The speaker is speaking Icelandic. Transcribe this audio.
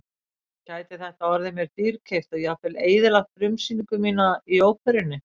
Gæti þetta orðið mér dýrkeypt og jafnvel eyðilagt frumsýningu mína í óperunni.